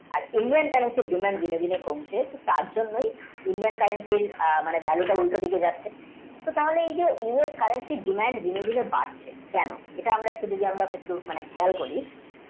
আর Indian, currency এর demand ধীরে ধীরে কমছে তার জন্যে Indian, currency এর value উল্টো দিকে যাচ্ছে এই যে US currency এর demand ধীরে ধীরে বাড়ছে কেনো এটা আমারে চিন্তা ভাবনা করি